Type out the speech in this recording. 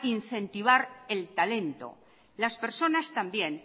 incentivar el talento las personas también